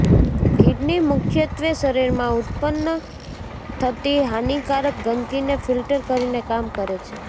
kidney મુખ્યત્વે શરીરમાં ઉત્પન્ન થતી હાનિકારક ગંદકીને ફિલ્ટર કરીને કામ કરે છે